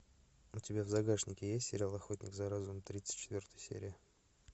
у тебя в загашнике есть сериал охотник за разумом тридцать четвертая серия